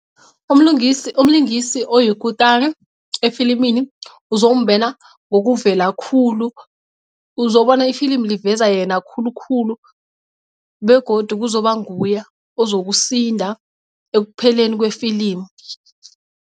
Umlungisi umlingisi oyikutani efilimini uzombena ngokuvela khulu uzobona ifilimu liveza yena khulukhulu begodu kuzoba nguye ozokusinda ekupheleni kwefilimu.